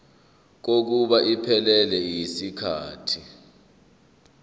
kokuba iphelele yisikhathi